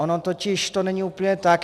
Ono totiž to není úplně tak.